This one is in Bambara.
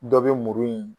Dɔ bɛ muru in